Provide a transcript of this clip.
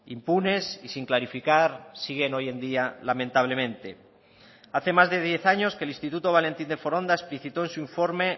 impunes y sin clarificar siguen hoy en día lamentablemente hace más de diez años que el instituto valentín de foronda explicitó en su informe